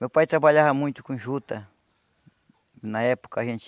Meu pai trabalhava muito com juta, na época a gente